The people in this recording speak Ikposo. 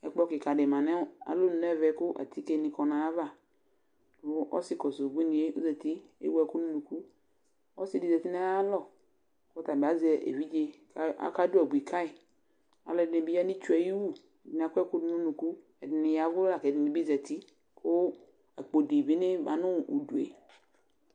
nɩƐkplɔ kɩka dɩ ma nʋ alonu nɛvɛ kʋ atike nɩ kɔ nayavaƆsɩ kɔsʋ ubuinie ozati ewu ɛkʋ nʋ unukuƆsɩ dɩ zati nayalɔ kɔtabɩ azɛ evidze ka aka dʋ abui kayɩAlʋ ɛdɩnɩ bɩ ya nitsue ayiwu, ɛdɩnɩ akɔ ɛkʋ dʋ nʋ unuku, ɛdɩnɩ yavʋ la kɛdɩnɩ bɩ zati ,kʋ akpo dɩ bɩ ma nʋ udue